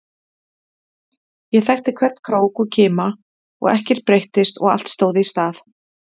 Ég þekkti hvern krók og kima, og ekkert breyttist, og allt stóð í stað.